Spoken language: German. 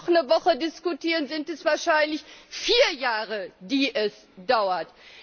Wenn wir noch eine Woche diskutieren, sind es wahrscheinlich vier Jahre, die es dauert.